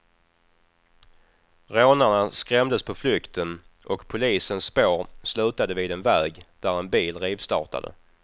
Rånarna skrämdes på flykten, och polisens spår slutade vid en väg där en bil rivstartade.